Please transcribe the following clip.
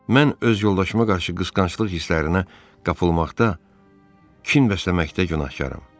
Mən öz yoldaşıma qarşı qısqanclıq hisslərinə qapılmaqda kin bəsləməkdə günahkaram.